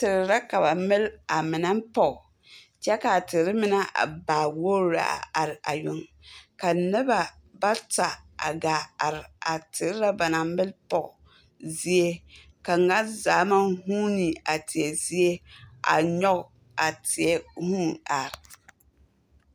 Ter lɛ ka ba mell a mine pɔg, kyɛ kaa a ter mine a baa wogr lɛ a are a yoŋ. Ka noba bata a gaa are a ter na ba naŋ mell pɔg zie. Ka ŋa zaa maŋ huune a teɛ zie a nyɔge a teɛ huu ar.